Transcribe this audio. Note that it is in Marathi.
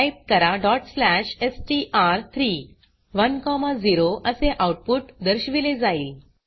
टाइप करा str3 1 0 असे आउटपुट दर्शविले जाईल